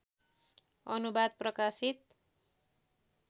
अनुवाद प्रकाशित